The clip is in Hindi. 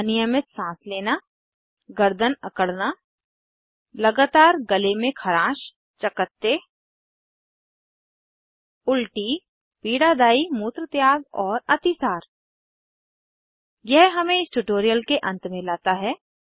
अनियमित साँस लेना गर्दन अकड़ना लगातार गले में खरांश चकत्ते उलटी पीड़ादायी मूत्रत्याग और अतिसार यह हमें इस ट्यूटोरियल के अंत में लाता है